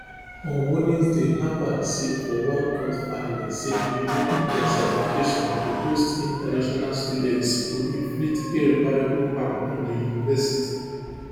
on wednesday harvard say for one court filing say revoking dia certification to host international students go inflict irreparable harm on di university